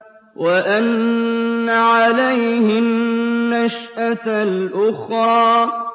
وَأَنَّ عَلَيْهِ النَّشْأَةَ الْأُخْرَىٰ